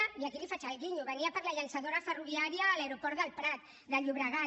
i aquí li faig el guinyo venia per la llançadora ferroviària a l’aeroport del prat de llobregat